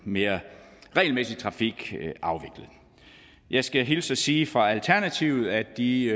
mere regelmæssig trafikafvikling jeg skal hilse og sige fra alternativet at de